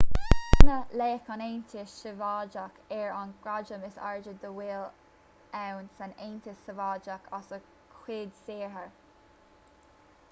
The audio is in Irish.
bronnadh laoch an aontais shóivéadaigh air an gradam is airde dá bhfuil ann san aontas sóivéadach as a chuid saothair